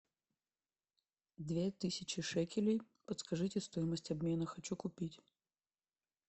две тысячи шекелей подскажите стоимость обмена хочу купить